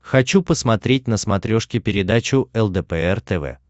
хочу посмотреть на смотрешке передачу лдпр тв